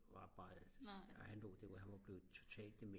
ret meget han var blevet totalt dement